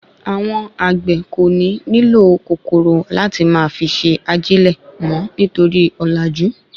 Awon àgbè ko ni nílò kòkòrò láti máa fi ṣe ajilẹ mọ nítorí òlàjú